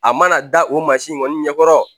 A mana da o mansi kɔni ɲɛkɔrɔ